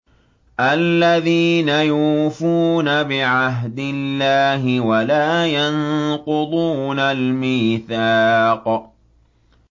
الَّذِينَ يُوفُونَ بِعَهْدِ اللَّهِ وَلَا يَنقُضُونَ الْمِيثَاقَ